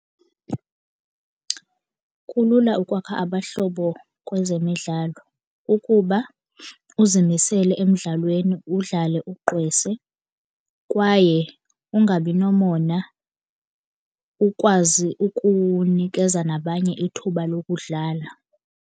Kulula ukwakha abahlobo kwezemidlalo ukuba uzimisele emdlalweni udlale ugqwese kwaye ungabi nomona ukwazi ukunikeza nabanye ithuba lokudlala.